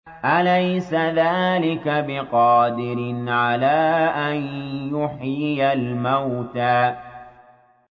أَلَيْسَ ذَٰلِكَ بِقَادِرٍ عَلَىٰ أَن يُحْيِيَ الْمَوْتَىٰ